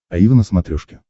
аива на смотрешке